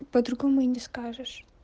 по-другому и не скажешь